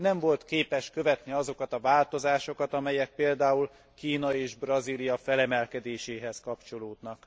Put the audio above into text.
Nem volt képes követni azokat a változásokat, amelyek például Kína és Brazília felemelkedéséhez kapcsolódnak.